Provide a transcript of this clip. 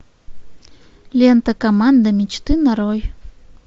лента команда мечты нарой